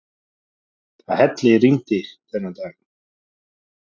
Það hellirigndi þennan dag.